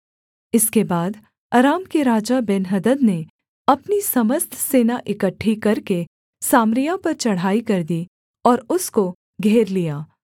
इसके बाद अराम के राजा बेन्हदद ने अपनी समस्त सेना इकट्ठी करके सामरिया पर चढ़ाई कर दी और उसको घेर लिया